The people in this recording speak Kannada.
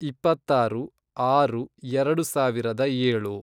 ಇಪ್ಪತ್ತಾರು, ಆರು, ಎರೆಡು ಸಾವಿರದ ಏಳು